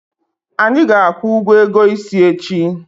Anyị ga-akwụ ụgwọ ego isi echi.